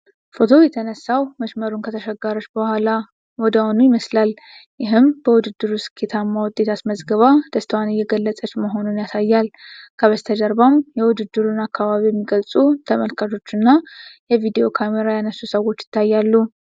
ፎቶው የተነሳው መስመሩን ከተሻገረች በኋላ ወዲያውኑ ይመስላል፤ ይህም በውድድሩ ስኬታማ ውጤት አስመዝግባ ደስታዋን እየገለጸች መሆኑን ያሳያል። በስተጀርባም የውድድሩን አከባቢ የሚገልጹ ተመልካቾች እና የቪዲዮ ካሜራ ያነሱ ሰዎች ይታያሉ።